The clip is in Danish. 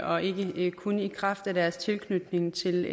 og ikke kun i kraft af deres tilknytning til